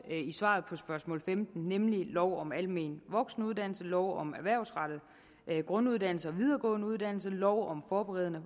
i svaret på spørgsmål femten nemlig lov om almen voksenuddannelse lov om erhvervsrettet grunduddannelse og videregående uddannelse lov om forberedende